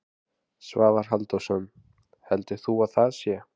Svavar Halldórsson: Heldur þú að það sé?